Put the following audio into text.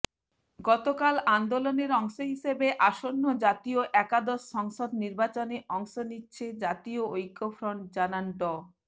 গতকাল আন্দোলনের অংশ হিসেবে আসন্ন জাতীয় একাদশ সংসদ নির্বাচনে অংশ নিচ্ছে জাতীয় ঐক্যফ্রন্ট জানান ড